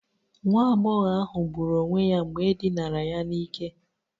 Nwa agbọghọ ahụ gburu onwe ya mgbe e dinara ya n'ike